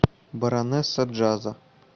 баронесса джаза